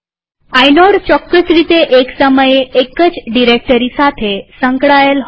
inode ચોક્કસ રીતે એક સમયે એક જ ડિરેક્ટરી સાથે સંકળાયેલ હોય છે